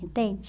Entende?